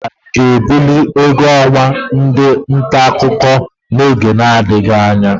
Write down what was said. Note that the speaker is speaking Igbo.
Onyeisiala ga-ebuli ụgwọ ọnwa ndị ntaakụkọ n'oge na-adịghị anya.